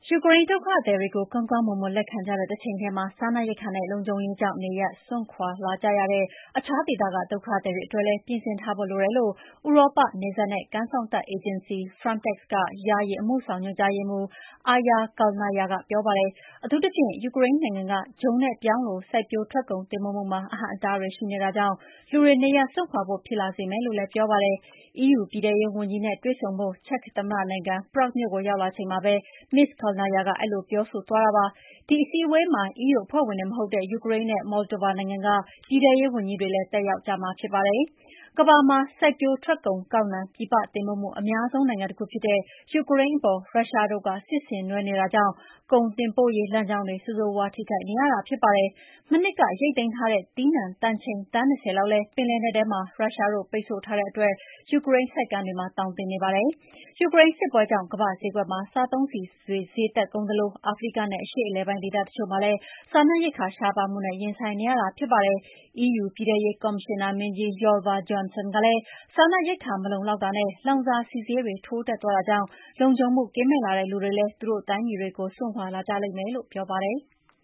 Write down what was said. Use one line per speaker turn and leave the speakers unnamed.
ယူကရိန်းဒုက္ခသည်တွေကို ကောင်းကောင်းမွန်မွန် လက်ခံကြတဲ့တချိန်ထဲမှာ စားနပ်ရိက္ခာနဲ့ လုံခြုံရေးကြောင့် နေရပ်စွန့်ခွါလာကြတဲ့ အခြားဒေသက ဒုက္ခသည်တွေအတွက်လည်း ပြင်ဆင်ထားဖို့လိုတယ်လို့ ဥရောပ နယ်စပ်နဲ့ကမ်းစောင့်တပ် အေဂျင်စီ Frontex ယာယီ အမှုဆောင်ညွှန်ကြားရေးမှူး Aija Kalnaja ကပြောပါတယ်။ အထူးသဖြင့် ယူကရိန်းနိုင်ငံက ဂျုံနဲ့ပြောင်းလို စိုက်ပျိုးထွက်ကုန်တင်ပို့မှုမှာ အဟန့်အတားတွေရှိ နေတာကြောင့် လူတွေ နေရပ်စွန့်ခွါဖို့ ဖြစ်လာစေမယ်လို့လည်း ပြောပါတယ်။ EU ပြည်ထဲရေးဝန်ကြီးတွေနဲ့တွေ့ဆုံဖို့ ချက်သမ္မတနိုင်ငံ၊ Prague မြို့ကိုရောက်လာချိန်မှာ Ms Kalnaja က အဲဒီလိုပြောဆိုသွားတာပါ။ ဒီအစည်းအဝေးမှာ EU အဖွဲ့ဝင်တွေမဟုတ် တဲ့ယူကရိန်းနဲ့ Moldova နိုင်ငံက ပြည်ထဲရေးဝန်ကြီးတွေလည်း တက်ရောက်ကြမှာဖြစ်ပါတယ်။ ကမ္ဘာမှာ စိုက်ပျိုးထွက်ကုန်ကောက်နှံ ပြည်ပအတင်ပို့မှု အများဆုံးနိုင်ငံတခုဖြစ်တဲ့ ယူကရိန်းအပေါ် ရုရှားတို့ စစ်ဆင်နွှဲနေတဲ့အတွက် ကုန်တင်ပို့ရေးလမ်းကြောင်း တွေ ဆိုးဆိုးရွားရွားထိခိုက်နေရတာဖြစ်ပါတယ်။ မနှစ်က ရိတ်သိမ်းထားတဲ့ သီးနှံတန်ချိန်သန်း ၂၀ လောက်လည်း ပင်လယ်နက်ထဲမှာရုရှားတို့ပိတ်ဆို့ထားတဲ့အတွက် ယူကရိန်းဆိပ်ကမ်းတွေမှာ သောင်တင်နေပါတယ်။ ယူကရိန်းစစ်ပွဲကြောင့် ကမ္ဘာ့ဈေးကွက်မှာ စားသုံးဆီတွေဈေးတက်ကုန်သလို အာဖရိကနဲ့အရှေ့အလယ်ပိုင်းဒေသတချို့မှာလည်း စားနပ်ရိက္ခာရှားပါးမှုနဲ့ ရင်ဆိုင်နေရတာလည်းဖြစ်ပါတယ်။ EU ပြည်ထဲရေးကော်မရှင်နာမင်းကြီး Ylva Johansson ကလည်း စားနပ်ရိက္ခာမလုံလောက်တာနဲ့ လောင်စာဆီဈေးတွေထိုးတက်သွားတာကြောင့် လုံခြုံမှုကင်းမဲ့လာတဲ့ လူတွေလည်း သူတို့တိုင်းပြည်တွကို စွန့်ခွါ လာကြလိမ့်မယ်လို့ ပြောပါတယ်။